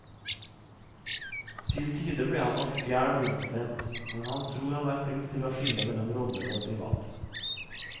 Til tider ble han nok fjern og innadvendt, men han tror han er flink til å skille mellom roller og det private.